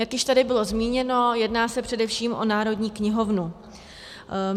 Jak už tady bylo zmíněno, jedná se především o Národní knihovnu.